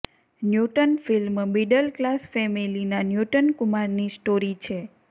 newton film middle class ફેમિલીના Newton કુમારની story છે